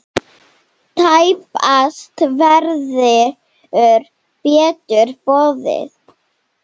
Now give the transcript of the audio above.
Tæpast verður betur boðið!